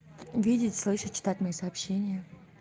видеть слышать читать мои сообщения